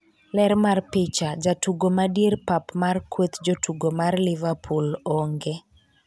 ler mar picha, jatugo ma dier pap mar kweth jotugo mar liverpool Oonge